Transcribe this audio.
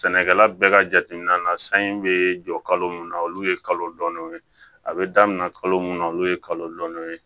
Sɛnɛkɛla bɛɛ ka jateminɛ na san in bɛ jɔ kalo mun na olu ye kalo dɔɔni ye a bɛ daminɛ kalo mun na olu ye kalo dɔɔni ye